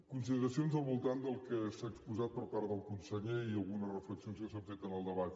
consideracions al voltant del que s’ha exposat per part del conseller i algunes reflexions que s’han fet en el debat